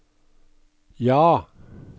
ja